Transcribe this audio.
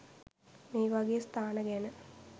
මේවගේ ස්ථාන ගැන